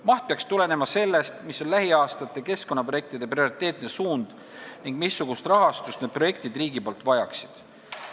Maht peaks tulenema sellest, milline on lähiaastate keskkonnaprojektide prioriteetne suund ning missugust rahastust need projektid riigilt vajaksid.